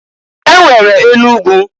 E nwere enu ugwu.